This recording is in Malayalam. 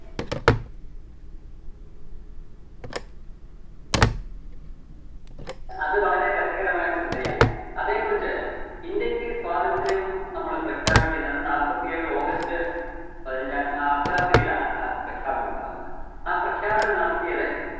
അത് വളരെ രസകരമായിട്ടുള്ളൊരു സംഗതിയാണ്. അതെക്കുറിച്ച് ഇന്ത്യക്ക് സ്വാതന്ത്ര്യം നമ്മള് പ്രഖ്യാപിക്കുന്നത് നാപ്പത്തിയേഴ് august പതിനഞ്ചാം ആ അര്‍ദ്ധരാത്രിയിലാണ് ആ പ്രഖ്യാപനമുണ്ടാകുന്നത്‌. ആ പ്രഖ്യാപനം നടത്തിയത്